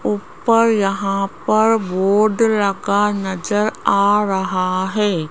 ऊपर यहां पर बोर्ड रखा नजर आ रहा है।